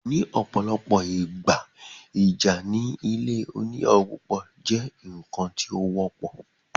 In most cases, conflict in polygamous home is common thing